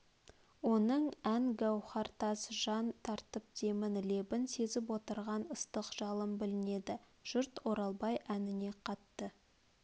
оның ән гауартас жан тартып демін лебін сезіп отырған ыстық жалын білінеді жұрт оралбай әніне қатты